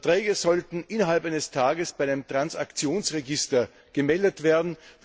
Verträge sollten innerhalb eines Tages bei dem Transaktionsregister gemeldet werden.